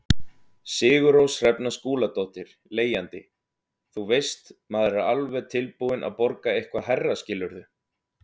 Sigurrós Hrefna Skúladóttir, leigjandi: Þú veist, maður er alveg tilbúin að borga eitthvað hærra skilurðu?